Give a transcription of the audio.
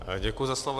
Děkuji za slovo.